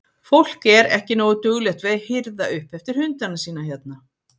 Fólk er ekki nógu duglegt við að hirða upp eftir hundana sína hérna?